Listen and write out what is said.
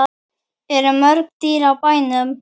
Eru mörg dýr á bænum?